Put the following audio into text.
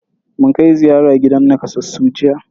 Mun kai ziyara gidan nakasassu jiya.